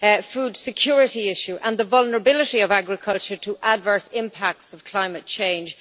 food security issue and the vulnerability of agriculture to the adverse impacts of climate change.